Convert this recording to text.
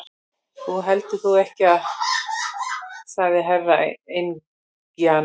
Þú heldur þó ekki sagði Herra Enzana.